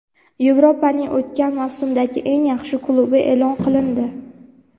Yevropaning o‘tgan mavsumdagi eng yaxshi klubi eʼlon qilindi.